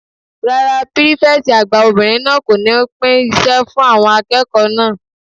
Rárá, pírífẹ̀tì àgbà obìnrin náà kò ní pín iṣẹ́ fún àwọn akẹ́kọ̀ọ́ náà